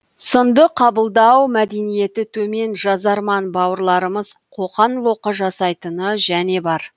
сынды қабылдау мәдениеті төмен жазарман бауырларымыз қоқан лоқы жасайтыны және бар